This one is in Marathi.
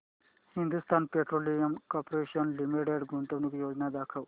हिंदुस्थान पेट्रोलियम कॉर्पोरेशन लिमिटेड गुंतवणूक योजना दाखव